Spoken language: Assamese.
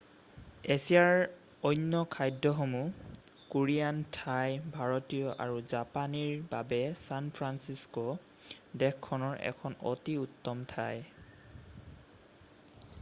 এছিয়াৰ অন্য খাদ্যসমূহ কোৰিয়ান থাই ভাৰতীয় আৰু জাপানীৰ বাবে ছান ফ্ৰান্সিছক' দেশখনৰ এখন অতি উত্তম ঠাই